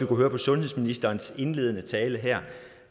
kunne høre på sundhedsministerens indledende tale her